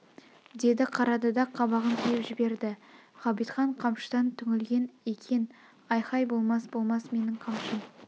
деді қарады да қабағын түйіп жберді ғабитхан қамшыдан түңілген екен айхай болмас болмас менің қамшым